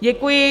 Děkuji.